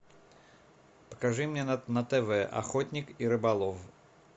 покажи мне на тв охотник и рыболов